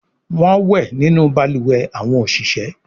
Wón wẹ nínú balùwẹ̀ àwọn oṣiṣẹ